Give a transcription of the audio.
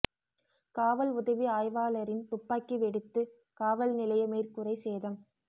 காவல் உதவி ஆய்வாளரின் துப்பாக்கி வெடித்து காவல் நிலைய மேற்கூரை சேதம்